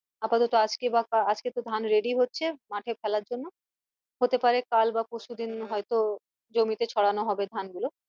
আপাতত আজকে বা আজকে তো ধান ready হচ্ছে মাঠে ফেলার জন্য হতে পারে কাল বা পরশুদিন হয়তো জমিতে ছড়ানো হবে ধান গুলো